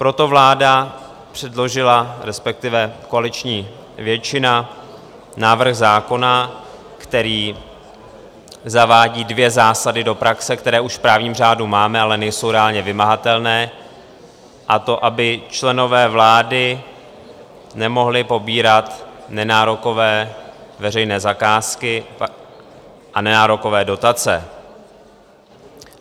Proto vláda předložila, respektive koaliční většina, návrh zákona, který zavádí dvě zásady do praxe, které už v právním řádu máme, ale nejsou reálně vymahatelné, a to aby členové vlády nemohli pobírat nenárokové veřejné zakázky a nenárokové dotace.